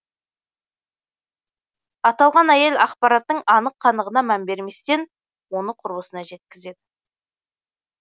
аталған әйел ақпараттың анық қанығына мән берместен оны құрбысына жеткізеді